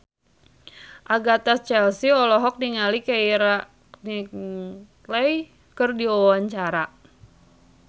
Agatha Chelsea olohok ningali Keira Knightley keur diwawancara